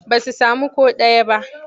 Ba su sami ko ɗaya ba.